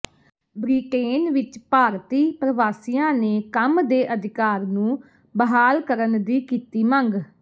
Britain ਵਿਚ ਭਾਰਤੀ ਪ੍ਰਵਾਸੀਆਂ ਨੇ ਕੰਮ ਦੇ ਅਧਿਕਾਰ ਨੂੰ ਬਹਾਲ ਕਰਣ ਦੀ ਕੀਤੀ ਮੰਗ